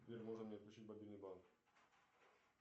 сбер можно мне включить мобильный банк